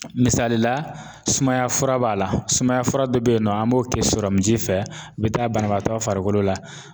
Misali la sumaya fura b'a la sumaya fura dɔ be yen nɔ, an b'o kɛ fɛ a bi taa banabaatɔ farikolo la